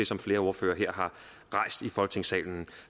som flere ordførere her har rejst i folketingssalen